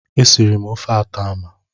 Esiri m ofe atama.